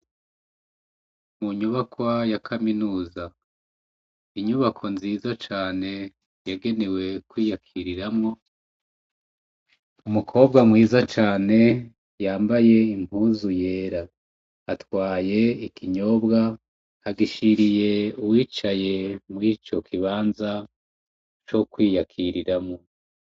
Mu nyubakwa ya kaminuza, inyubako nziza cane yagenewe kwiyakiriramwo umukobwa mwiza cane yambaye impuzu yera atwaye ikinyobwa, agishiriye uwicaye murico kibanza co kwiyakiriramwo.